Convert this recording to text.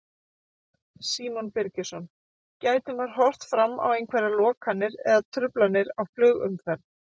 Símon Birgisson: Gæti maður horft fram á einhverjar lokanir eða truflanir á flugumferð?